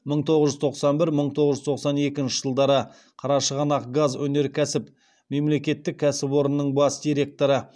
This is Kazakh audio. мың тоғыз жүз тоқсан бір мың тоғыз жүз тоқсан екінші жылдары қарашығанақгазөнеркәсіп мемлекеттік кәсіпорынның бас директоры